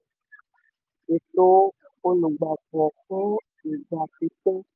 um ètò olùgbapò fún ìgbà pípẹ́